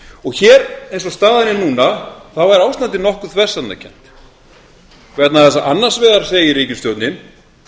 og hér eins og staðan er núna þá er ástandið nokkuð þversagnarkennt vegna þess að annars vegar segir ríkisstjórnin